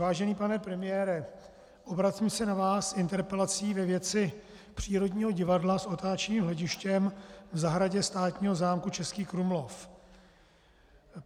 Vážený pane premiére, obracím se na vás s interpelací ve věci přírodního divadla s otáčivým hledištěm v zahradě státního zámku Český Krumlov.